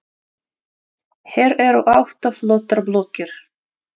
Hér eru átta flottar blokkir.